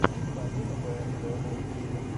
полина бээрзэ на ютьюбе